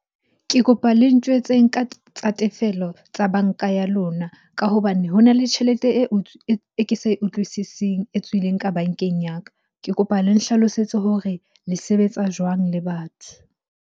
Ke kopa le ntjwetseng tsa tefello tsa banka ya lona ka hobane ho na le tjhelete e ke sa e utlwisising, e tswileng ka bankeng ya ka. Ke kopa le nhlalosetse hore le sebetsa jwang le batho?